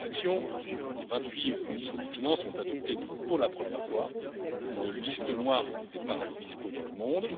En réaction, les vingt huit ministres des finances ont adopté, pour la première fois, une liste noire des paradis fiscaux dans le monde.